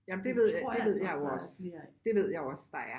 Jamen det ved jeg det ved jeg jo også der er